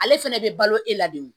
Ale fɛnɛ bɛ balo e la de o